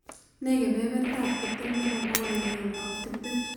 Ne kebebertaap tiptem ne po pogol agenge ak tiptem